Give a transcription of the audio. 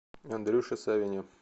андрюше савине